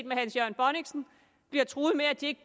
med hans jørgen bonnichsen bliver truet med at de ikke